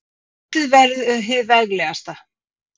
Mótið verður hið veglegasta